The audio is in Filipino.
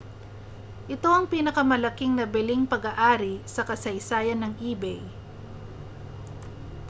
ito ang pinakamalaking nabiling pag-aari sa kasaysayan ng ebay